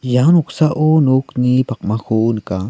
ia noksao nokni pakmako nika.